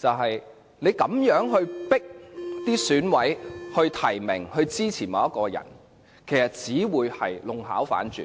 他這樣迫使選委提名和支持某人，其實只會弄巧反拙。